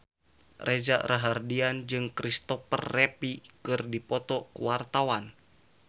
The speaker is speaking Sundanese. Reza Rahardian jeung Christopher Reeve keur dipoto ku wartawan